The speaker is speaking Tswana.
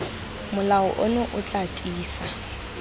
molao ono o tla tiisa